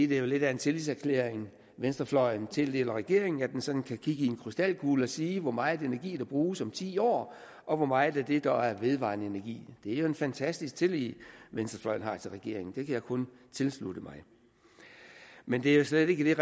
det er lidt af en tillidserklæring venstrefløjen tildeler regeringen at den sådan kan kigge i en krystalkugle og sige hvor meget energi der bruges om ti år og hvor meget af det der er vedvarende energi det er jo en fantastisk tillid venstrefløjen har til regeringen kan jeg kun tilslutte mig men det er jo slet ikke